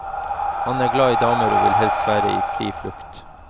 Han er glad i damer og vil helst være i fri flukt.